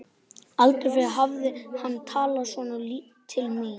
Aldrei fyrr hafði hann talað svona til mín.